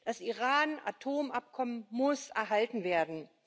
Das Iran Atomabkommen muss erhalten werden.